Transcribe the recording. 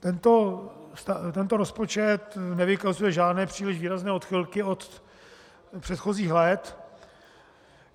Tento rozpočet nevykazuje žádné příliš výrazné odchylky od předchozích let.